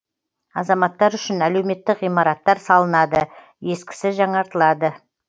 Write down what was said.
азаматтар үшін әлеуметтік ғимараттар салынады ескісі жаңаратылады